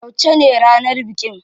Yauce ne ranar bikin?